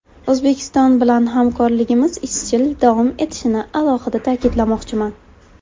O‘zbekiston bilan hamkorligimiz izchil davom etishini alohida ta’kidlamoqchiman.